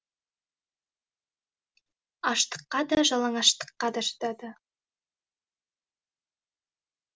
аштыққа да жалаңаштыққа да шыдады